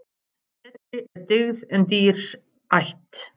Betri er dyggð en dýr ætt.